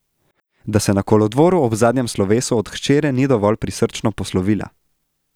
Da se na kolodvoru ob zadnjem slovesu od hčere ni dovolj prisrčno poslovila.